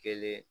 Kelen